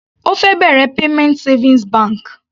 Ó fẹ́ bẹ̀rẹ̀ payment savings bank.